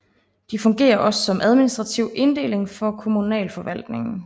De fungerer også som administrativ inddeling for kommunalforvaltningen